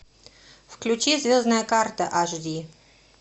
включи звездная карта аш ди